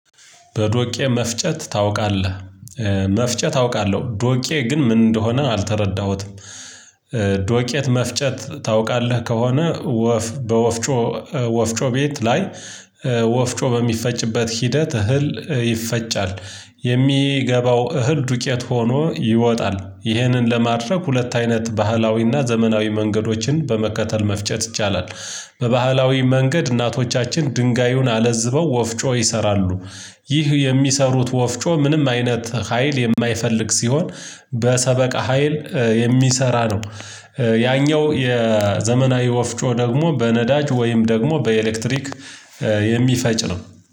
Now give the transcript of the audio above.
በዶቄ መፍጨት ታውቃለህ? መፍጨት አውቃለሁ ዶቄ ግን ምን እንደሆነ አልተረዳሁትም። መፍጨት ታውቃለህ ከሆነ? በወፍጮ ወፍጮ ቤት ላይ። ወፍጮ በሚፈጭበት ሂደት እህል ይፈጫል። የሚገባው እህል ዱቄት ሆኖ ይወጣል። ይህንን ለማድረግ ሁለት አይነት ባህላዊና ዘመናዊ መንገዶችን በመከተል መፍጨት ይቻላል። በባህላዊ መንገድ እናቶቻችን ድንጋዩን አለዝበው ወፍጮ ይሰራሉ። ይህ የሚሰሩት ወፍጮ ምንም አይነት ሀይል የማይፈልግ ሲሆን በሰበቃ ሀይል የሚሰራ ነው። ያኛው የዘመናዊ ወፍጮ ደግሞ በነዳጅ ወይም ደግሞ በኤሌክትሪክ የሚፈጭ ነው።